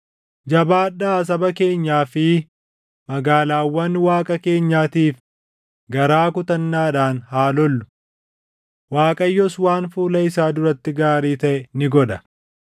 Jabaadhaa saba keenyaa fi magaalaawwan Waaqa keenyaatiif garaa kutannaadhaan haa lollu. Waaqayyos waan fuula isaa duratti gaarii taʼe ni godha.”